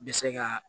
Bɛ se ka